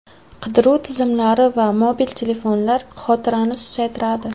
Qidiruv tizimlari va mobil telefonlar xotirani susaytiradi.